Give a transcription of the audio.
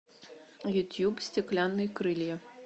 ютьюб стеклянные крылья